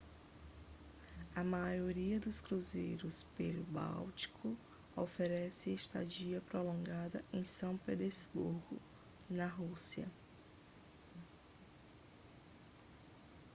a maioria dos cruzeiros pelo báltico oferece estadia prolongada em são petersburgo na rússia